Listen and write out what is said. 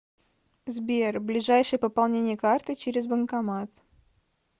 сбер ближайшее пополнение карты через банкомат